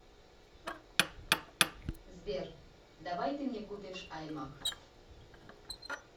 сбер давай ты мне купишь аймак